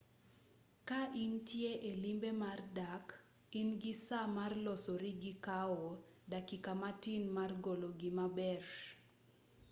ka intie e limbe mar dak ingi saa mar losori gi kawo dakika matin mar golo gima maber